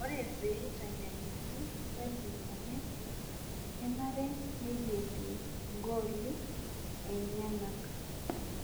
Ore pee eitanyanyuki saling o messi kenare neilepie gooli enyenak